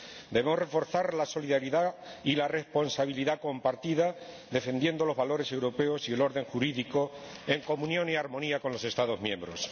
Debemos reforzar la solidaridad y la responsabilidad compartida, defendiendo los valores europeos y el orden jurídico en comunión y armonía con los Estados miembros.